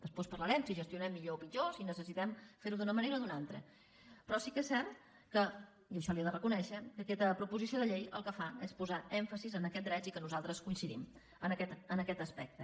després parlarem de si gestionem millor o pitjor o si necessitem fer ho d’una manera o d’una altra però sí que és cert i això li ho he de reconèixer que aquesta proposició de llei el que fa és posar èmfasi en aquests drets i que nosaltres coincidim en aquest aspecte